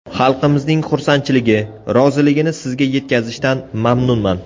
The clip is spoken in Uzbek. Xalqimizning xursandchiligi, roziligini sizga yetkazishdan mamnunman.